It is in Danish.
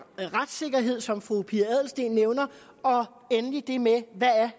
retssikkerhed som fru pia adelsteen nævner og endelig det med hvad